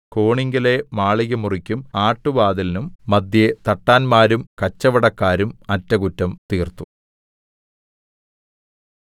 കോണിങ്കലെ മാളികമുറിക്കും ആട്ടുവാതിലിനും മദ്ധ്യേ തട്ടാന്മാരും കച്ചവടക്കാരും അറ്റകുറ്റം തീർത്തു